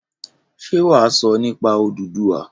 Ṣé wà á sọ nípa Odùduwà?